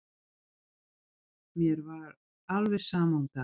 Mér var alveg sama um það.